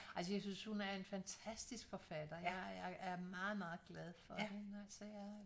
Altså jeg synes hun er en fantastisk forfatter jeg er meget meget glad for hende altså jeg